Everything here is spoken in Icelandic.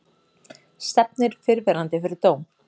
Stefnir fyrrverandi fyrir dóm